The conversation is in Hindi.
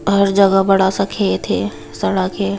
हर जगह बड़ा सा खेत है सड़क है।